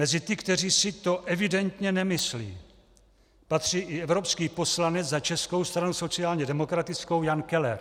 Mezi ty, kteří si to evidentně nemyslí, patří i evropský poslanec za Českou stranu sociálně demokratickou Jan Keller.